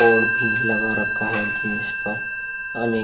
और भीं लगा रखा रखा है जींस पर। अने --